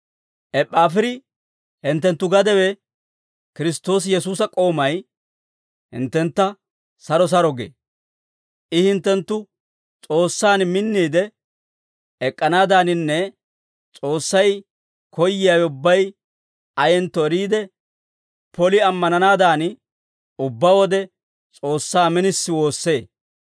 Eppaafiri, hinttenttu gadewe, Kiristtoosi Yesuusa k'oomay, hinttentta saro saro gee. I hinttenttu S'oossaan minniide ek'k'anaadaaninne S'oossay koyyiyaawe ubbay ayentto eriide, poli ammananaadan, ubbaa wode S'oossaa minisi woossee.